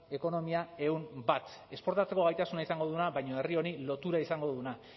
ekonomia ehun bat esportatzeko gaitasuna izango duena baina herri honi lotura izango duena